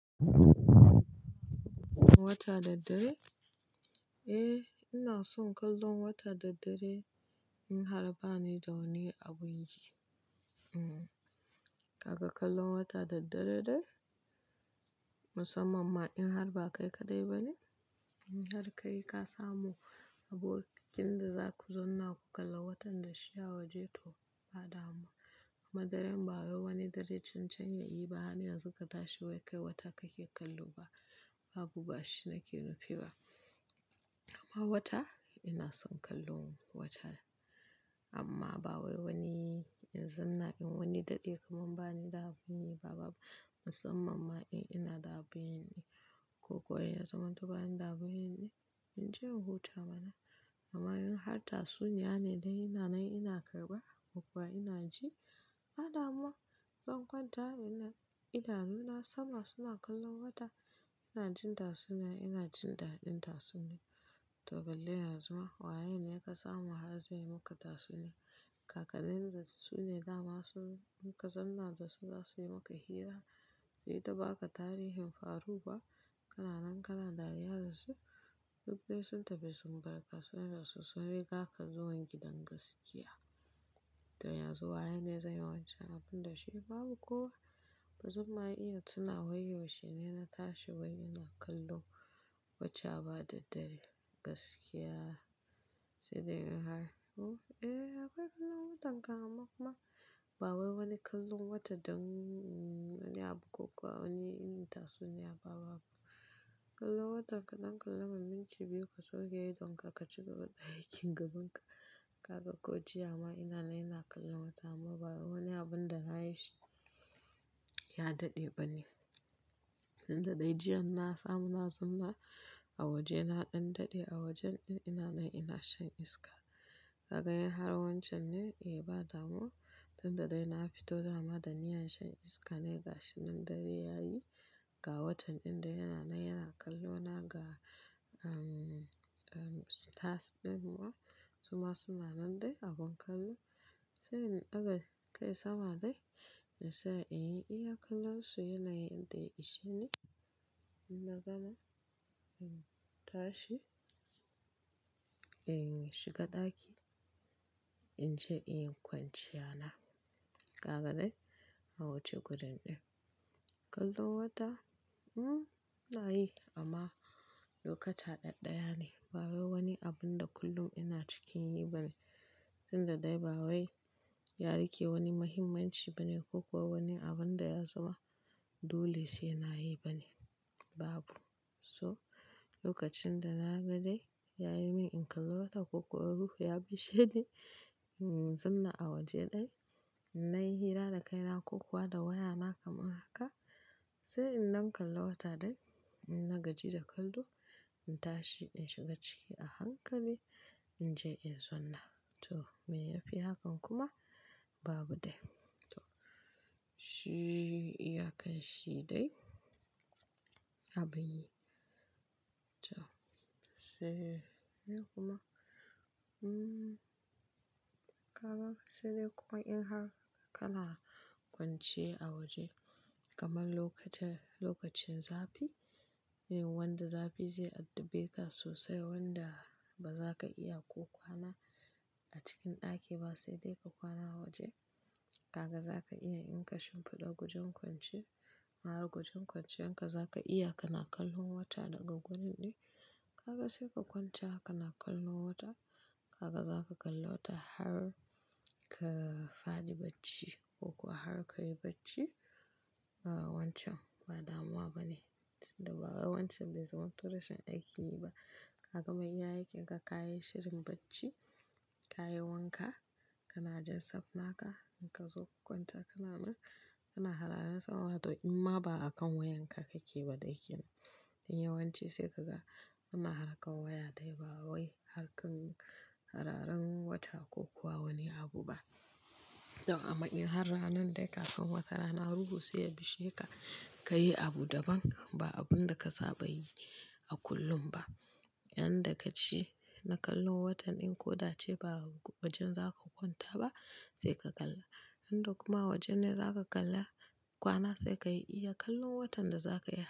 Kallon wata da dare? Eh, ina son kallon wata da dare in har ba ni da wani abun yi. Kaka kallon wata da dare dai musamman ma in har ba kai kaɗai ba ne, in har ka yi ka samu abokin da za ku zauna ku kalla watan da shi a waje to ba damuwa. Amma dare ba wai wani dare can can yayi ba har yanzu gata shi wai kai wata kake kallo ba. Babu, ba shi nake nufi ba. Amma wata ina son kallon wata amma ba wai wani in zan in wani daɗi kamar bani da abun yi ba, babu. Musamman ma in ina da abin yi ko kuwa yana zama duba ina da abin yi in je in huta bana. Amma in har tatsuniya ne dai ina nan ina karɓa ko kuwa ina ji, ba damuwa. Zan kwanta wai ina idanu na sama suna kallon wata ina jin tatsuniya ina jin daɗin tatsuniyar. To, balle ya zama waye ne ya kasamu har zai yi maka tatsuniya. Kakanin da su ne dama sun ka zanna da su za su yi maka hira. Sai ta baka tarihin faru ba, kana nan kana dariya da su duk dai sun tafi sun barka sona da su sun riga ka zuwa gidan gaskiya. Tai ya zama waye ne zai yi wancan abin da shi babu kuwa? Ba zumma iya suna wayarwa shine na tashi wai ina kallon wata ba da dare gaskiya sai dai in har huh, eh akwai kallon watan ka amma kuma ba wai wani kallon wata don wani abu ko kuwa wani inin tatsuniya babu. Kallon watan ka don ka lamma minci biyu ka so ka yi don ka ka cika haɗa aikin gabanka. Kaga ko jiya ma ina nan ina kallon wata amma ba wani abun da na yi shi ya daɗe ba ne. Tun daɗa jiya na samu na zauna a waje na ɗan daɗe a wajen in ina nan ina shan iska. Ka ga yayi har wancan ne? Eh ba damuwa. Tun da ɗai na fito dama da niyyar shan iska ne ga shi nan dare ya yi ga watan in ina nan ina kallona ga stars ɗin kuwa su ma suna nan dai abun kallo. Sai in aga kai sama dai na sai in iya kallon su yana yin dai ishe ne. Na gana in tashi in shiga ɗaki in je in kwanciya na. Kaga ne? A wuce gudun ɗin. Kallon wata? Hmm, na yi amma lokata ɗaya ne ba wai wani abun da kullum ina cikin yi ba ne. Tun daɗa ba wai ya riƙe wani muhimmanci ba ne ko kuwa wani abun da ya zama dole sai na yi ba ne, babu. So, lokacin da na ga dai yayi min in kalli wata ko kuwa ruhu ya bishiye ni in zan zauna a waje ɗaya, na yi hira da kaina ko kuwa da waya na kamar haka. Sai in dan kalla wata dai, ina gaji da kallo, in tashi in shiga ciki a hankali in je in zauna. To, me ya fi hakan kuma babu dai. To, shi iya kai shi dai abin yi. To, sai dai kuma hmmm kaka sai dai kuma in har kana kwance a waje kamar lokacin zafi, wanda zafi zai addabe ka sosai wanda ba za ka iya ko kwana a cikin ɗaki ba sai dai ka kwana a waje. Kaga za ka iya in ka shimfiɗa gujen kwance, hara gujen kwancen ka za ka iya kana kallon wata daga gurin ɗin. Kaka sai ka kwance haka na kallon wata kaka za ka kalla wata har ka faɗi bacci ko kuwa har ka yi bacci. A wancan ba damuwa ba ne. Tun da ba wai wancan zai zama tonl rashin aikin yi ba. Ka gama iya aikinka ka yi shirin bacci, ka yi wanka kana jan safna ka in ka zo ku kwanta kana nan kana hararan sama to amma ba a kan wayanka kake ba ɗakin. Don yawanci sai kaga ana harkar waya dai ba wai harkar hararan wata ko kuwa wani abu ba. To amma in har ranan dai kafin wata rana ruhu sai ya bishiye ka, ka yi abu daban ba abun da ka saba yi a kullum ba. Yan da ka ci na kallon watan in ko dace ba wajen za ka kwanta ba sai ka kalla. In da kuma wajen ne za ka kalla kwana sai ka iya kallon watan da za ka yi.